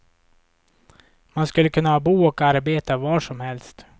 Man skulle kunna bo och arbeta var som helst.